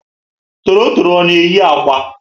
Torotoro ọ na eyi ákwà?